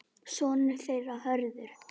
Sonur þeirra Hörður.